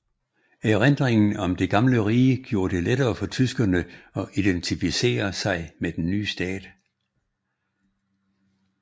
Erindringen om det gamle rige gjorde det lettere for tyskerne at identificere sig med den nye stat